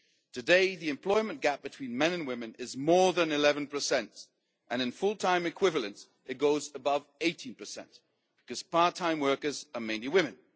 Today, the employment gap between men and women is more than 11, and in full time equivalent it goes above 18, because part time workers are mainly women.